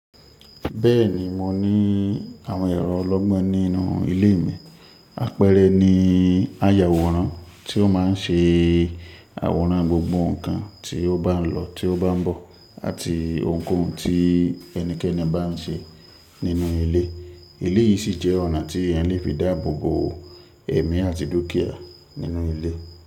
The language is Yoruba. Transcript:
Bẹ́ẹ̀ni mo ní àwọn ẹrọ ọlọ́gbọ́n nínú ilé mi. Apẹrẹ ni ayàwòrán tí ó máa ń ṣe àwòrán gbogbo nǹkan tí ó bá ń lọ, tí ó bá ń bọ̀ àti ohunkóhun tí ẹnikẹ́ni bá ń ṣe nínú ilé. Eléyìí sì jẹ́ ọ̀nà tí ẹ̀eyan le fi dáàbò bo ẹ̀mí àti dúkìá nínú ilé.